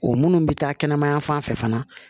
O minnu bɛ taa kɛnɛma yan fan fɛ fana